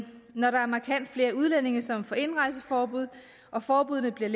når der er markant flere udlændinge som får indrejseforbud og forbuddene bliver